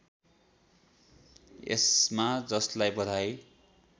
यसमा जसलाई बधाई